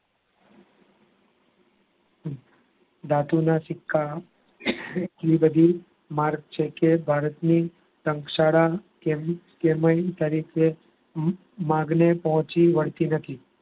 ધાતુ ના સિક્કા ની એટલી બધી માંગ છે કે ભારતની માંગને પહોંચી વળતી નથી.